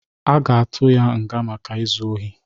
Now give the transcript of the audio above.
Aga atụ ya nga maka izu ọhi